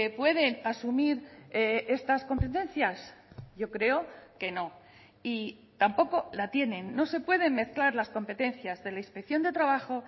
pueden asumir estas competencias yo creo que no y tampoco la tienen no se pueden mezclar las competencias de la inspección de trabajo